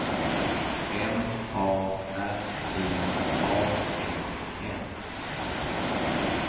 M A R I A N N